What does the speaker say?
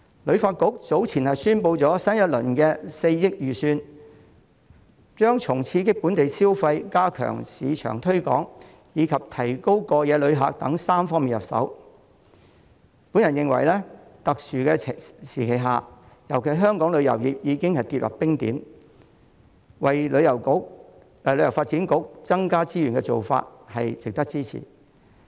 旅發局早前宣布新一輪的4億元預算將從刺激本地消費、加強市場推廣，以及提高過夜旅客數目等3方面入手，我認為在特殊時期尤其是當香港旅遊業已經跌至冰點時，為旅發局增加資源的做法值得支持。